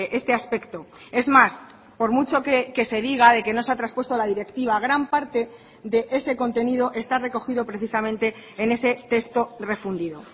este aspecto es más por mucho que se diga de que no se ha traspuesto la directiva gran parte de ese contenido está recogido precisamente en ese texto refundido